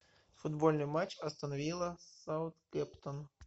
футбольный матч астон вилла саутгемптон